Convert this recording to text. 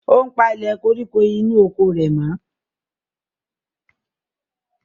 Ó ń palẹ̀ koríko inú oko rẹ̀ mọ́.